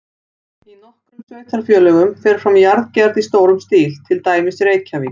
Í nokkrum sveitarfélögum fer fram jarðgerð í stórum stíl, til dæmis í Reykjavík.